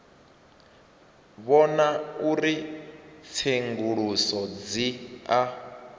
vhona uri tsenguluso dzi a